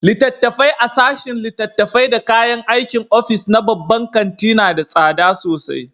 Littattafai a sashen littattafai da kayan aikin ofis na babban kanti na da tsada sosai.